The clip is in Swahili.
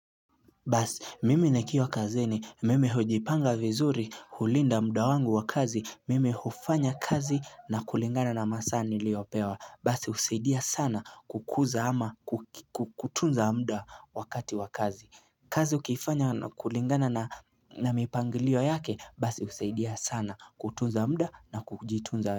Basi, mimi nikiwa kazini, mimi hujipanga vizuri, hulinda muda wangu wa kazi, mimi hufanya kazi na kulingana na masaa niliopewa. Basi husaidia sana kutunza muda wakati wa kazi. Kazi ukiifanya na kulingana na mipangilio yake, basi husaidia sana kutunza muda na kujitunza.